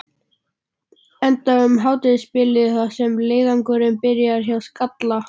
Enda um hádegisbilið þar sem leiðangurinn byrjaði, hjá Skalla.